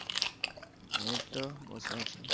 এইতো বসে আছি